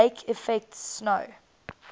lake effect snow